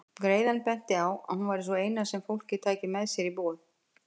Greiðan benti á að hún væri sú eina sem fólkið tæki með sér í boð.